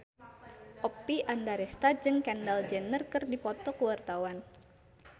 Oppie Andaresta jeung Kendall Jenner keur dipoto ku wartawan